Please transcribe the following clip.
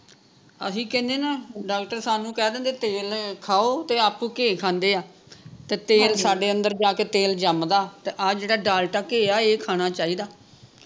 ਅਸੀਂ ਕਹਿਣੇ ਨਾ ਡਾਕਟਰ ਸਾਨੂੰ ਕਹਿ ਦਿੰਦੇ ਤੇਲ ਖਾਓ ਤੇ ਆਪ ਘੈ ਖਾਂਦੇ ਆ ਤੇ ਤੇਲ ਸਾਡੇ ਅੰਦਰ ਜਾਕੇ ਤੇਲ ਜੰਮਦਾ ਤੇ ਆਹ ਜਿਹੜਾ ਡਾਲਡਾ ਘੈ ਆ ਇਹ ਖਾਣਾ ਚਾਹੀਦਾ